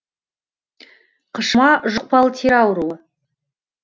қышыма жұқпалы тері ауруы